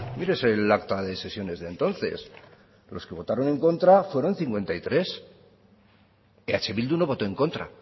mírese el acta de sesiones de entonces los que votaron en contra fueron cincuenta y tres eh bildu no votó en contra